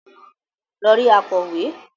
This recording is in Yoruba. lọ rí “akọ̀wé”.